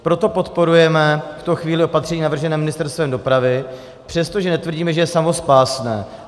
Proto podporujeme v tuto chvíli opatření navržené Ministerstvem dopravy, přestože netvrdíme, že je samospásné.